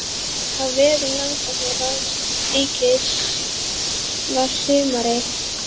Á vegum Rannsóknaráðs ríkisins var sumarið